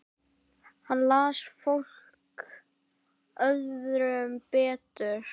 Hann las fólk öðrum betur.